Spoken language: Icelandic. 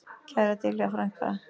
Kæra Diljá frænka.